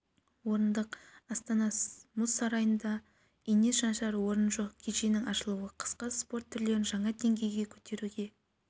орындық астана мұз сарайында ине шаншар орын жоқ кешеннің ашылуы қысқы спорт түрлерін жаңа деңгейге көтеруге